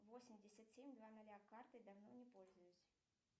восемьдесят семь два ноля картой давно не пользуюсь